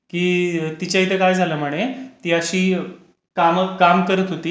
की तिच्या इथे काय झालं म्हणे की ती अशी काम करत होती.